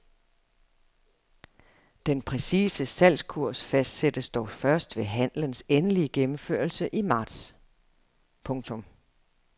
Den præcise salgskurs fastsættes dog først ved handlens endelige gennemførelse i marts. punktum